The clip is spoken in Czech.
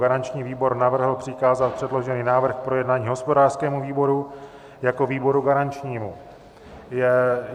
Garanční výbor navrhl přikázat předložený návrh k projednání hospodářskému výboru jako výboru garančnímu.